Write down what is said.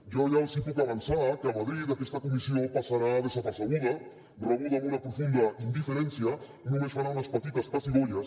jo ja els puc avançar que a madrid aquesta comissió passarà desapercebuda rebuda amb una profunda indiferència només farà unes petites pessigolles